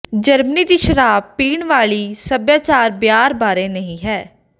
Germany ਦੀ ਸ਼ਰਾਬ ਪੀਣ ਵਾਲੀ ਸਭਿਆਚਾਰ ਬੀਅਰ ਬਾਰੇ ਨਹੀਂ ਹੈ